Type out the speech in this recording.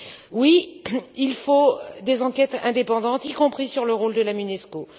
Oui, il faut des enquêtes indépendantes, y compris sur le rôle de la Monusco.